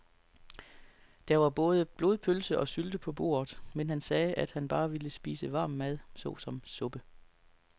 Der var både blodpølse og sylte på bordet, men han sagde, at han bare ville spise varm mad såsom suppe.